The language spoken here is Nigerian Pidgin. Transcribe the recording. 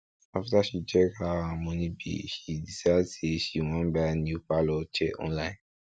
after she check how her money be she decide say she wan buy new parlor chair online